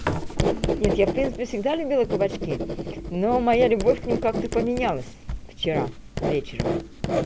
нет я в принципе всегда любила кабачки но моя любовь к ним как-то поменялась вчера вечером